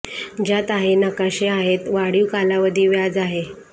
ज्यात आहे नकाशे आहेत वाढीव कालावधी व्याज आहे